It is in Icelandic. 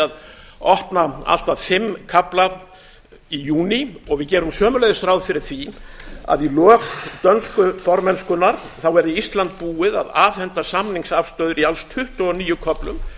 að opna allt að fimm kafla í júní og við gerum sömuleiðis ráð fyrir því að í lok dönsku formennskunnar verði ísland búið að afhenda samningsafstöðu í alls tuttugu og níu köflum